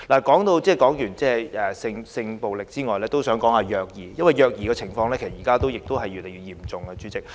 代理主席，除了性暴力之外，我還想談談虐兒，因為現時虐兒的情況越來越嚴重。